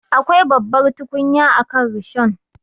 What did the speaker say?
Akwai babbar tukunya akan rishon.